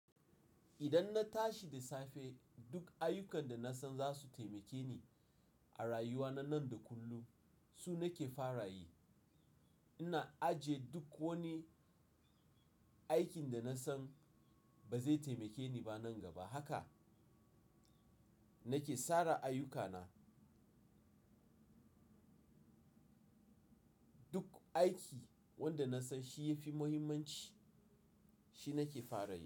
Idan na tashi da safe duk ayyukan da na san za su taimake ni a rayuwa na yau da kullum su nake fara yi. Ina ajiye duk wani aikin da na san ba zai taimake ni ba nan gaba haka. Nake sara ayyukana. Duk aiki wanda na san shi ya fi muhimmanci shi nake fara yi.